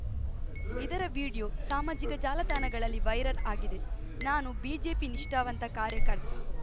ಇದರ ವಿಡಿಯೋ ಸಾಮಾಜಿಕ ಜಾಲತಾಣಗಳಲ್ಲಿ ವೈರಲ್‌ ಆಗಿದೆ ನಾನು ಬಿಜೆಪಿ ನಿಷ್ಠಾವಂತ ಕಾರ್ಯಕರ್ತ